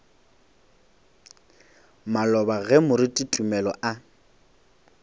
maloba ge moruti tumelo a